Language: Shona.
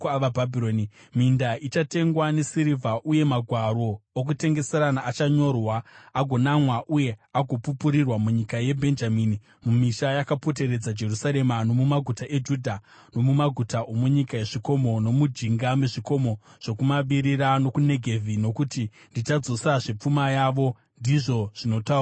Minda ichatengwa nesirivha, uye magwaro okutengeserana achanyorwa, agonamwa uye agopupurirwa munyika yeBhenjamini, mumisha yakapoteredza Jerusarema, nomumaguta eJudha nomumaguta omunyika yezvikomo, nomujinga mezvikomo zvokumavirira, nokuNegevhi, nokuti ndichadzosazve pfuma yavo, ndizvo zvinotaura Jehovha.”